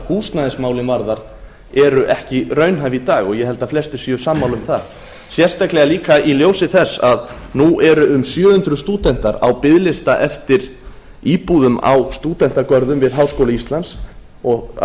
húsnæðismálin varðar eru ekki raunhæf í dag og ég held að flestir séu sammála um það sérstaklega líka í ljósi þess að nú eru um sjö hundruð stúdentar á biðlista eftir íbúðum á stúdentagörðum við háskóla íslands og að